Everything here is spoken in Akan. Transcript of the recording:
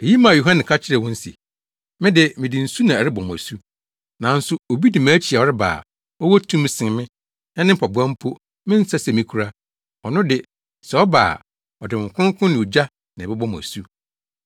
Eyi maa Yohane ka kyerɛɛ wɔn se, “Me de, mede nsu na ɛrebɔ mo asu. Nanso obi di mʼakyi a ɔreba a, ɔwɔ tumi sen me na ne mpaboa mpo, mensɛ sɛ mikura. Ɔno de, sɛ ɔba a ɔde Honhom Kronkron ne ogya na ɛbɛbɔ mo asu.